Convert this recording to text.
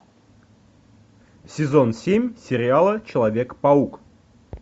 сезон семь сериала человек паук